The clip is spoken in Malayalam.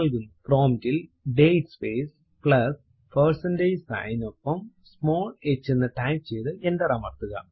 prompt ൽ date space plus percentage sign നിനൊപ്പം സ്മോൾ h എന്ന് ടൈപ്പ് ചെയ്തു എന്റർ അമർത്തുക